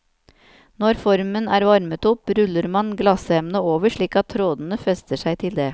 Når formen er varmet opp, ruller man glassemnet over, slik at trådene fester seg til det.